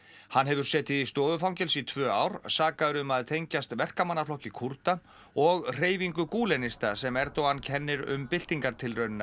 hann hefur setið í stofufangelsi í tvö ár sakaður um að tengjast Kúrda og hreyfingu sem Erdogan kennir um